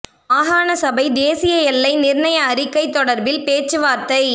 மாகாண சபை தேசிய எல்லை நிர்ணய அறிக்கை தொடர்பில் பேச்சுவார்த்தை